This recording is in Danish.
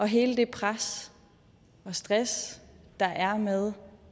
hele det pres og stress der er med